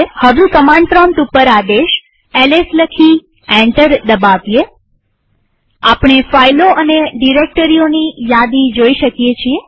હવે command prompt ઉપર આદેશ એલએસ લખી એન્ટર દબાવીએઆપણે ફાઈલો અને ડિરેક્ટરીઓની યાદી જોઈ શકીએ છીએ